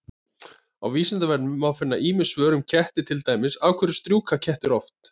Á Vísindavefnum má finna ýmis svör um ketti, til dæmis: Af hverju strjúka kettir oft?